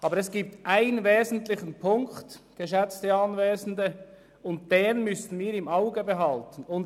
Aber es gibt einen wesentlichen Punkt, geschätzte Anwesende, den wir im Auge behalten müssen.